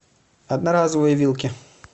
одноразовые вилки